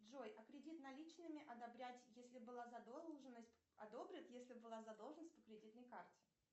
джой а кредит наличными одобрять если была задолженность одобрят если была задолженность по кредитной карте